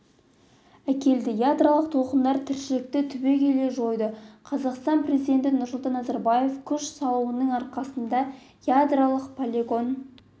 әкелді ядролық толқындар тіршілікті түбегейлі жойды қазақстан президенті нұрсұлтан назарбаевтың күш салуының арқасында ядролық полигон